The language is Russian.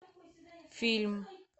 фильм